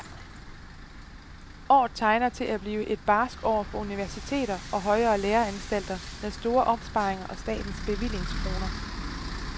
Året tegner til at blive et barskt år for universiteter og højere læreanstalter med store opsparinger af statens bevillingskroner.